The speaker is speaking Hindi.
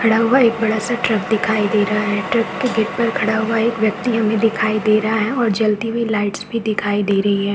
खड़ा हुआ एक बड़ा- सा ट्रक दिखाई दे रहा है ट्रक के गेट पर खड़ा हुआ एक व्यक्ति हमें दिखाई दे रहा है और जलती हुई लाइट्स भी दिखाई दे रही हैं ।